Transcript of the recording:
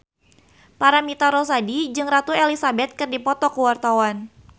Paramitha Rusady jeung Ratu Elizabeth keur dipoto ku wartawan